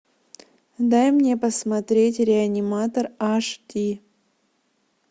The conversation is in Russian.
дай мне посмотреть реаниматор аш ди